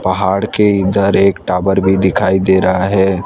पहाड़ के इधर एक टावर भी दिखाई दे रहा है।